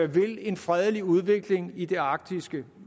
vil en fredelig udvikling i det arktiske